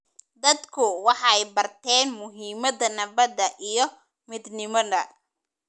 Dadku waxay barteen muhiimadda nabadda iyo midnimada.